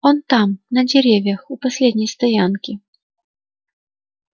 он там на деревьях у последней стоянки